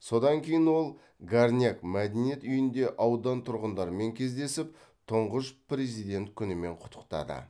содан кейін ол горняк мәдениет үйінде аудан тұрғындарымен кездесіп тұңғыш президент күнімен құттықтады